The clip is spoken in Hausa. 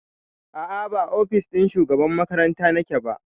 A'a ba ofis ɗin shugaban makaranta nake ba